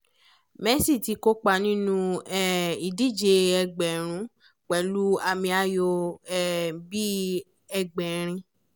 messi ti kópa nínú um ìdíje ẹgbẹ̀rún pẹ̀lú àmì ayò um bíi ẹgbẹ̀rin